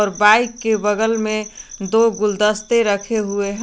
bike के बगल में दो गुलदस्ते रखे हुए ह--